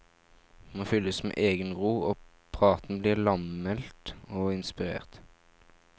Man fylles med en egen ro, og praten blir lavmælt og inspirert.